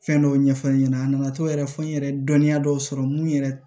Fɛn dɔw ɲɛfɔ n ɲɛna a nana to yɛrɛ fo n yɛrɛ ye dɔnniya dɔw sɔrɔ mun yɛrɛ